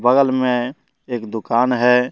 बगल में एक दुकान है।